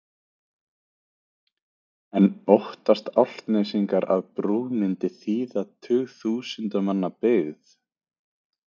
En óttast Álftnesingar að brú myndi þýða tugþúsunda manna byggð?